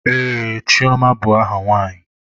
Ee, Chioma bụ aha nwaanyị.